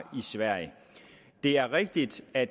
sverige det er rigtigt at